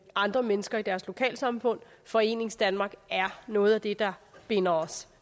andre mennesker i deres lokalsamfund foreningsdanmark er noget af det der binder os